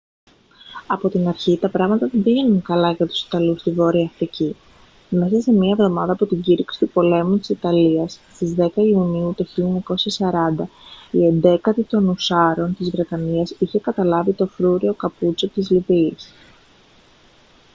από την αρχή τα πράγματα δεν πήγαιναν καλά για τους ιταλούς στη βόρεια αφρική μέσα σε μία εβδομάδα από την κήρυξη του πολέμου της ιταλίας στις 10 ιουνίου του 1940 η 11η των ουσσάρων της βρετανίας είχε καταλάβει το φρούριο capuzzo της λιβύης